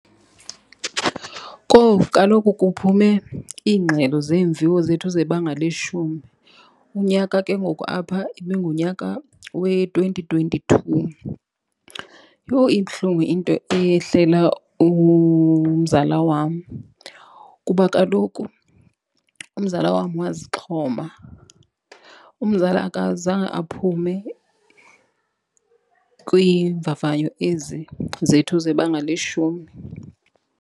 Kowu, kaloku kuphume iingxelo zeemviwo zethu zebanga leshumi. Unyaka ke ngoku apha ibingunyaka we-twenty twenty-two. Yho ibuhlungu into eyehlela umzala wam kuba kaloku umzala wam wazixhoma. Umzala akazange aphume kwiimvavanyo ezi zethu zebanga leshumi.